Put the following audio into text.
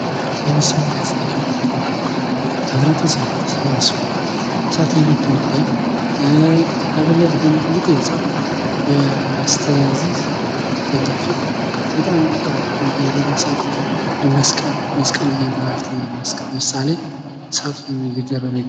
ይህ ምስል የሚያሳየው ህብረተሰቡ ተሰባስቦ እሳቱን እያነደደ ፤ ከፊት ለፊት ደሞ ትልቅ ህንጻ በስተዚህ በኛ ፊት ፤ በጣም ትልቅ መስቀል ያመላክተናል ለምሳሌ እሳቱ እየደረበ ይገኛል።